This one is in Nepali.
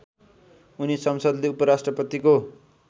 उनी संसदले उपराष्ट्रपतिको